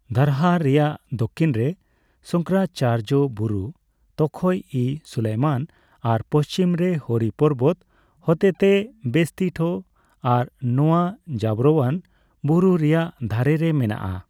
ᱫᱟᱨᱦᱟ ᱨᱮᱭᱟᱜ ᱫᱷᱚᱠᱤᱱ ᱨᱮ ᱥᱚᱝᱠᱚᱨᱟᱪᱟᱨᱡᱚ ᱵᱩᱨᱩ(ᱛᱚᱠᱷᱚᱭᱼᱤ ᱥᱩᱞᱟᱹᱭᱢᱟᱱ) ᱟᱨ ᱯᱚᱪᱷᱤᱢ ᱨᱮ ᱦᱚᱨᱤ ᱯᱚᱨᱵᱚᱫ ᱦᱚᱛᱮᱛᱮ ᱵᱮᱥᱛᱤᱴᱷᱚ ᱟᱨ ᱱᱚᱣᱟ ᱡᱟᱵᱟᱨᱳᱣᱟᱱ ᱵᱩᱲᱩ ᱨᱮᱭᱟᱜ ᱫᱷᱟᱨᱮ ᱨᱮ ᱢᱮᱱᱟᱜᱼᱟ ᱾